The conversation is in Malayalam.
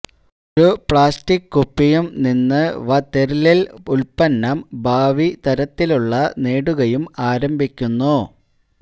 ഒരു പ്ലാസ്റ്റിക് കുപ്പിയും നിന്ന് വതെര്ലില്യ് ഉൽപന്നം ഭാവി തരത്തിലുള്ള നേടുകയും ആരംഭിക്കുന്നു